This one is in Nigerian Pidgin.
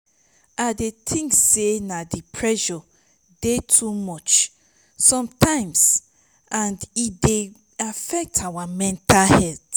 i dey think say di pressure dey too much sometimes and e dey affect our mental health.